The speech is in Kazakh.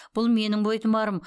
бұл менің бойтұмарым